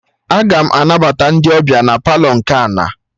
Aga m anabata ndị ọbịa na Palọ nke ana